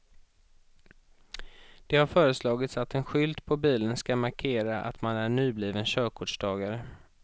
Det har föreslagits att en skylt på bilen ska markera att man är nybliven körkortstagare.